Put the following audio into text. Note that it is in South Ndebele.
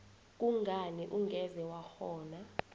kungani ungeze wakghona